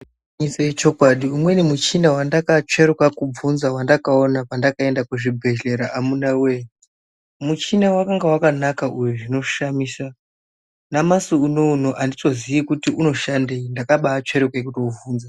Ichocho ichokwadi umweni muchina wandakatsveruka kuvhunza waandakaona pandakaenda kuzvibhehlera amunawee. Muchina wakanga wakanaka uyu zvinoshamisa, namasi unouno handitozii kuti unoshandei, ndakabaatsveruke kutouvhunza.